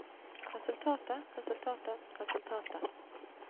resultatet resultatet resultatet